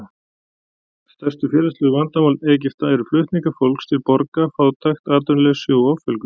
Stærstu félagslegu vandamál Egypta eru flutningar fólks til borga, fátækt, atvinnuleysi og offjölgun.